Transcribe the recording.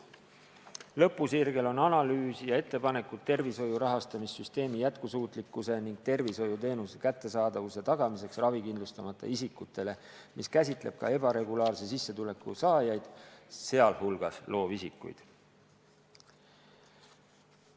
Lõpusirgel on töö dokumendiga "Analüüs ja ettepanekud tervishoiu rahastamissüsteemi jätkusuutlikkuse ning tervishoiuteenuste kättesaadavuse tagamiseks ravikindlustamata isikutele", mis käsitleb ka ebaregulaarse sissetuleku saajaid, sh loovisikuid.